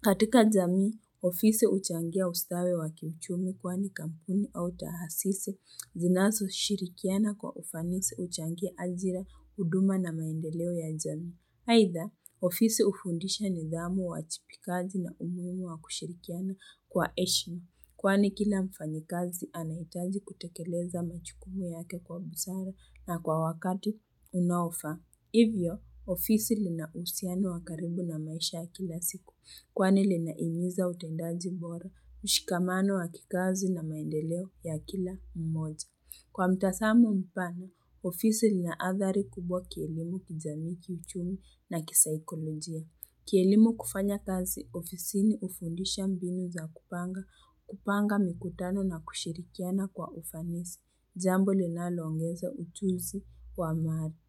Katika jamii, ofisi huchangia ustawi wa kiuchumi kwani kampuni au taasisi, zinazo shirikiana kwa ufanisi huchangia ajira, huduma na maendeleo ya jamii. Aidha, ofisi hufundisha nidhamu uwajibikaji na umuhimu wa kushirikiana kwa heshima. Kwani kila mfanyikazi anahitaji kutekeleza majukumu yake kwa busara na kwa wakati unaofaa. Hivyo, ofisi lina uhusiano wakaribu na maisha ya kila siku. Kwani lina hiniza utendaji bora, ushikamano wakikazi na maendeleo ya kila mmoja. Kwa mtazamo mpana, ofisi lina athari kubwa kielimu kijamii kiuchumi na kisaikolojia. Kielimu kufanya kazi ofisini hufundisha mbinu za kupanga, kupanga mikutano na kushirikiana kwa ufanisi. Jambo linaloongeza ujuzi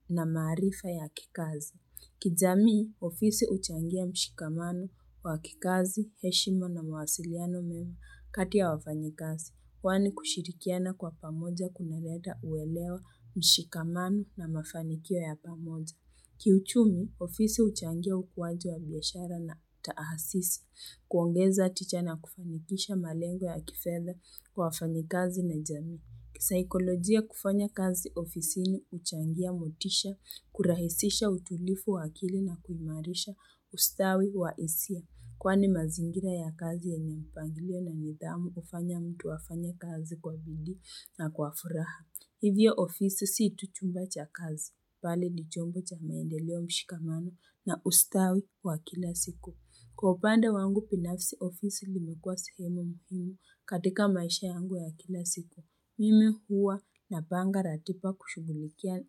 na maarifa ya kikazi. Kijamii, ofisi huchangia mshikamano wa kikazi, heshima na mawasiliano mema kati ya wafanyikazi. Kwani kushirikiana kwa pamoja kuna leta uelewa mshikamano na mafanikio ya pamoja. Kiuchumi, ofisi huchangia ukuaji wa biashara na taasisi, kuongeza tija na kufanikisha malengo ya kifedha kwa wafanyi kazi na jamii. Kisaikolojia kufanya kazi ofisini huchangia motisha, kurahisisha utulivu wa akili na kuimarisha ustawi wa hisia. Kwani mazingira ya kazi yenye mpanglio na nidhamu hufanya mtu afanye kazi kwa bidii na kwa furaha. Hivyo ofisi si tu chumba cha kazi. Bali ni chombo cha maendeleo mshikamano na ustawi wa kila siku. Kwa upande wangu binafisi ofisi lilmekuwa sehemu muhiimu katika maisha yangu ya kila siku. Mimi huwa na panga ratiba kushughulikia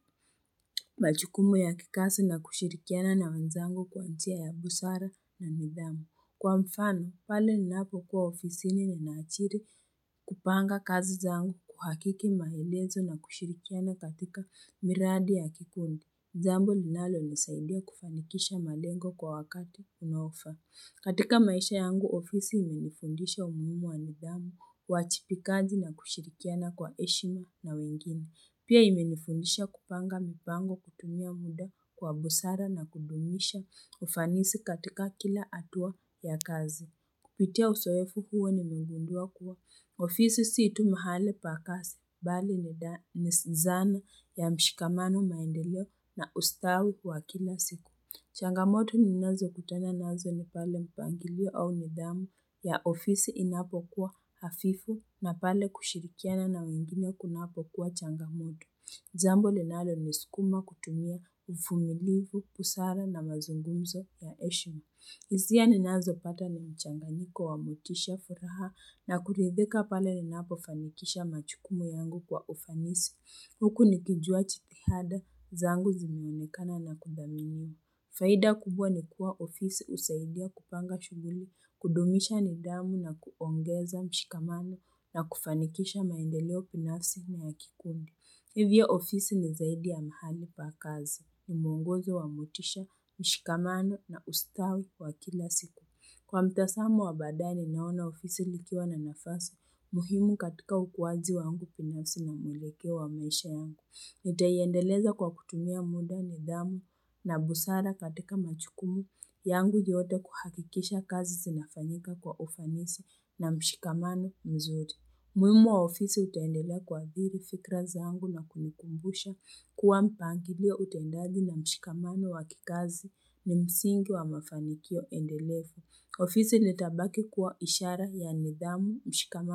majukumu ya kikazi na kushirikiana na wenzangu kwa njia ya busara na nidhamu. Kwa mfano, pale ninapo kuwa ofisini ninaajiri kupanga kazi zangu kuhakiki maelezo na kushirikiana katika miradi ya kikundi. Jambo linalo nisaidia kufanikisha malengo kwa wakati unaofaa. Katika maisha yangu, ofisi imenifundisha umuhimu wa nidhamu, uwajibikaji na kushirikiana kwa heshima na wengine. Pia imenifundisha kupanga mipango kutumia muda kwa busara na kudumisha ufanisi katika kila hatua ya kazi. Kupitia uzoefu huo ni megundua kuwa. Ofisi si tu muhali pa kazi bali ni zana ya mshikamano maendeleo na ustawi wa kila siku. Changamoto ni nazo kutana nazo ni pale mpangilio au nidhamu ya ofisi inapo kuwa hafifu na pale kushirikiana na wengine kunapo kuwa changamoto. Jambo linalo nisukuma kutumia uvumilivu, busara na mazungumzo ya heshima hisia ni nazo pata ni mchanganyiko wa motisha furaha na kuridhika pale ninapo fanikisha majukumu yangu kwa ufanisi. Huku nikijua jitihada, zangu zimeonekana na kuthaminiwa. Faida kubwa ni kuwa ofisi husaidia kupanga shughuli, kudumisha nidhamu na kuongeza mshikamano na kufanikisha maendeleo binafsi na ya kikundi. Hivyo ofisi ni zaidi ya mahali pakazi, ni mwongozo wa motisha, mshikamano na ustawi wa kila siku. Kwa mtazamo wa badaye ninaona ofisi likiwa na nafasi, muhimu katika ukuaji wangu binafsi na mwelekeo wa maisha yangu. Nita iendeleza kwa kutumia muda nidhamu na busara katika majukumu yangu yote kuhakikisha kazi zinafanyika kwa ufanisi na mshikamano mzuri. Umuhimu wa ofisi utendelea kuathiri fikra zangu na kunikumbusha kuwa mpangilio utendaji na mshikamano wa kikazi ni msingi wa mafanikio endelevu. Ofisi litabaki kuwa ishara ya nidhamu mshikamano.